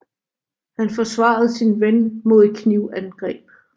Han forsvarede sin ven mod et knivangreb